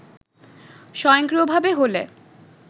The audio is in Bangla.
স্বয়ংক্রিয়ভাবে হলে